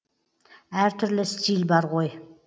әр түрлі стиль бар ғой